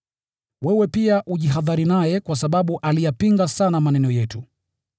Wewe pia ujihadhari naye kwa sababu aliyapinga sana maneno yetu.